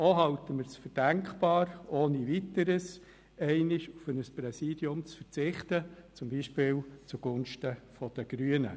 Auch halten wir es ohne Weiteres für denkbar, einmal auf ein Präsidium zu verzichten, zum Beispiel zugunsten der Grünen.